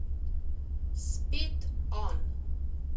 Spet on.